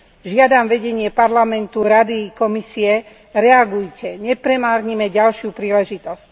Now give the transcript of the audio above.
Žiadam vedenie Parlamentu, Rady i Komisie reagujte, nepremárnime ďalšiu príležitosť.